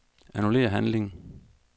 Annullér handling.